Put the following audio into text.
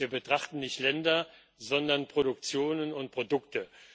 Wir betrachten nicht Länder, sondern Produktionen und Produkte.